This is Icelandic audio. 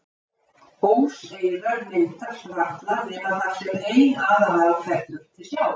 Óseyrar myndast varla nema þar sem ein aðalá fellur til sjávar.